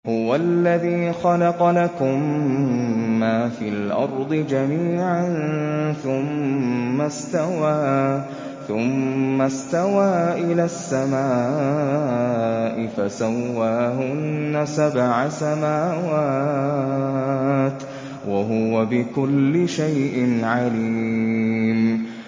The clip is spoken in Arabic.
هُوَ الَّذِي خَلَقَ لَكُم مَّا فِي الْأَرْضِ جَمِيعًا ثُمَّ اسْتَوَىٰ إِلَى السَّمَاءِ فَسَوَّاهُنَّ سَبْعَ سَمَاوَاتٍ ۚ وَهُوَ بِكُلِّ شَيْءٍ عَلِيمٌ